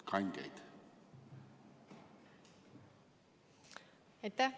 Aitäh!